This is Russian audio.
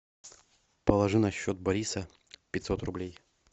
положи на счет бориса пятьсот рублей